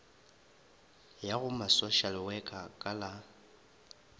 ya go masošalewekha ka la